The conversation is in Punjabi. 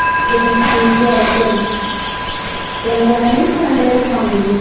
ਜਿੱਦਣ ਤਿੰਨ ਜਾਣੇ ਨੀ ਫਿਰਦੇ